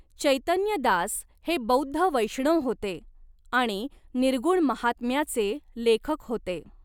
चैतन्य दास हे बौद्ध वैष्णव होते आणि निर्गुण महात्म्याचे लेखक होते.